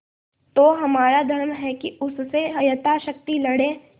तो हमारा धर्म है कि उससे यथाशक्ति लड़ें